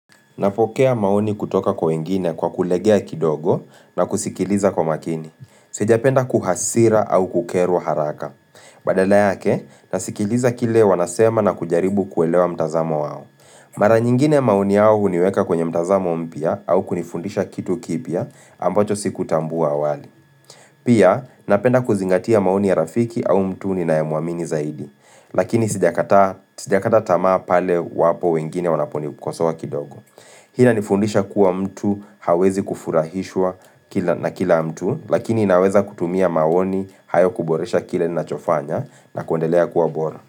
Napokea maoni kutoka kwa wengine kwa kulegea kidogo na kusikiliza kwa makini. Sijapenda kuhasira au kukerwa haraka. Badala yake, nasikiliza kile wanasema na kujaribu kuelewa mtazamo wao. Mara nyingine maoni yao huniweka kwenye mtazamo mpya au kunifundisha kitu kipya ambacho sikutambua awali. Pia, napenda kuzingatia maoni ya rafiki au mtu ninayemwamini zaidi. Lakini sijakata tamaa pale wapo wengine wanaponikosoa kidogo. Hii inanifundisha kuwa mtu hawezi kufurahishwa na kila mtu lakini inaweza kutumia maoni hayo kuboresha kile ninachofanya na kuendelea kuwa bora.